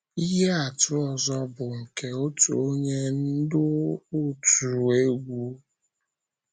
Ihe atụ ọzọ bụ nke otu onye ndú òtù egwú.